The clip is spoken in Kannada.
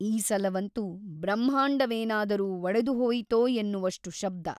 ಈ ಸಲವಂತೂ ಬ್ರಹ್ಮಾಂಡವೇನಾದರೂ ಒಡೆದುಹೋಯಿತೋ ಎನ್ನುವಷ್ಟು ಶಬ್ದ.